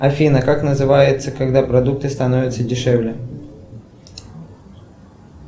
афина как называется когда продукты становятся дешевле